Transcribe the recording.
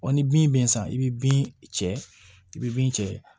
Ɔ ni bin bɛ san i bɛ bin cɛ i bɛ bin cɛ